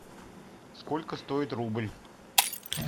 сколько стоит рубль